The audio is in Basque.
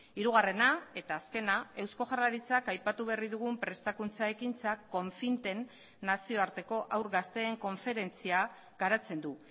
hirugarrena eta azkena eusko jaurlaritzak aipatu berri dugun prestakuntza ekintzak confinten nazioarteko haur gazteen konferentzia garatzen du